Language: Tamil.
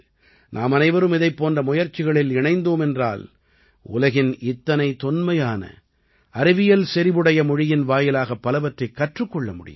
நாமனைவரும் இதைப் போன்ற முயற்சிகளில் இணைந்தோம் என்றால் உலகின் இத்தனை தொன்மையான அறிவியல் செறிவுடைய மொழியின் வாயிலாகப் பலவற்றைக் கற்றுக் கொள்ள முடியும்